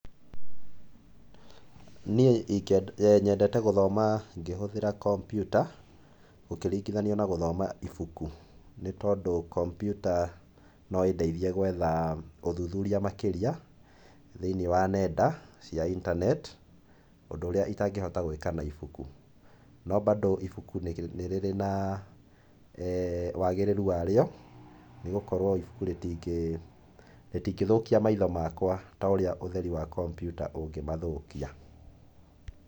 Niĩ nyendete gũthoma ngĩhũthĩra kompyuta, gũkĩringithanio na gũthoma ibuku. Nĩ tondũ kompyuta no ĩndeithie gwetha ũthuthuria makĩria thĩinĩ wa nenda cia internet, ũndũ ũrĩa itangĩhota gũĩka na ibuku. No bandũ ibuku nĩ rĩrĩ na wagĩrĩru warĩo, nĩgũkorwo ibuku rĩtingĩthũkia maitho makwa ta ũria ũtheri wa kompyuta ũngĩmathũkia.